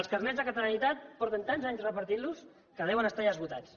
els carnets de catalanitat fa tants anys que els reparteixen que deuen estar ja esgotats